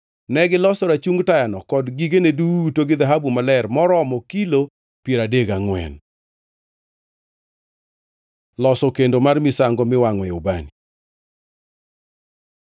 Negiloso rachung tayano kod gigene duto gi dhahabu maler maromo kilo piero adek gangʼwen. Loso kendo mar misango miwangʼoe ubani